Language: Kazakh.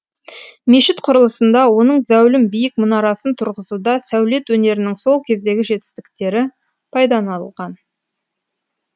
мешіт құрылысында оның зәулім биік мұнарасын тұрғызуда сәулет өнерінің сол кездегі жетістіктері пайдаланылған